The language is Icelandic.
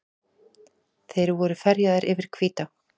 Þeir voru ferjaðir yfir Hvítá.